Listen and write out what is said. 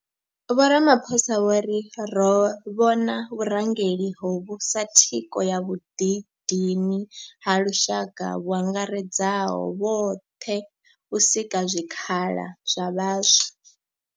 Vho Ramaphosa vho ri ro vhona vhurangeli hovhu sa thikho ya vhuḓidini ha lushaka vhu angaredzaho zwoṱhe u sika zwikhala zwa vhaswa.